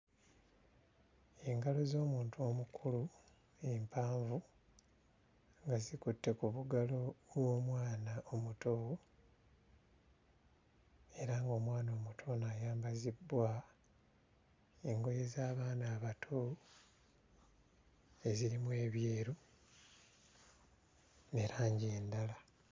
Engalo z'omuntu omukulu empanvu nga zikutte ku bugalo bw'omwana omuto era ng'omwana omuto ono ayambazibbwa engoye z'abaana abato ezirimu ebyeru ne langi endala.